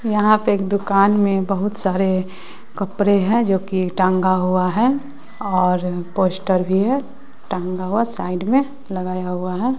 यहां पे एक दुकान में बहुत सारे कपरे हैं जो कि टांगा हुआ है और पोस्टर भी है टांगा हुआ साइड में लगाया हुआ है।